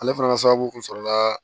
Ale fana ka sababu kun sɔrɔla